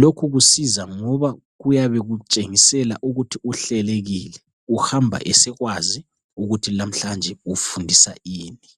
Lokhu kusiza ngoba kutshengisa ukuthi uhlelekile. Uhamba esekwazi, ukuthi lamhlanje, ufundisa ini.